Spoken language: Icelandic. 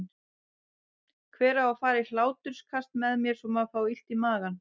Hver á að fara í hláturskast með mér svo maður fái illt í magann?